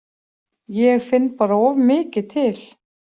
Ég finn bara of mikið til.